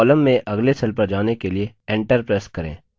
column में अगले cell पर जाने के लिए enter प्रेस करें